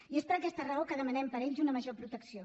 i és per aquesta raó que demanem per a ells una major protecció